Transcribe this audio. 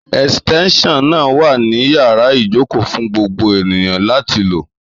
Èsìtéńsàn náà wà ní yàrá ìjókòó fún gbogbo ènìyàn láti lò